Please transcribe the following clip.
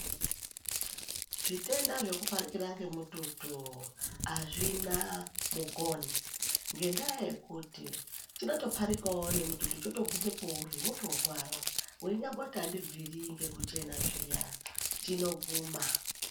Zvitenda zvekuparikira ngemututu azvina mukoni ngendaa yekuti chinotoparikawo nemututu chotoguma peuri wotorwara weinyamboti aubviri ngekuti chena zviya chinoguma